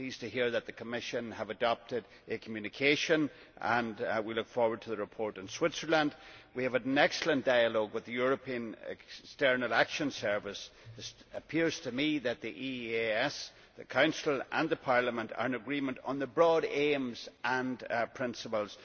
I am pleased to hear that the Commission has adopted a communication, and we look forward to the report on Switzerland. We have had an excellent dialogue with the European External Action Service. It appears to me that the EEAS, the Council and Parliament are in agreement on the broad aims and principles.